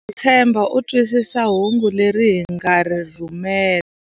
Ndza tshemba u twisisa hungu leri hi nga ri rhumela.